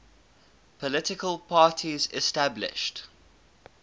political parties established